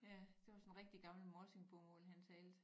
Ja det var sådan rigtig gammelt morsingbomål han talte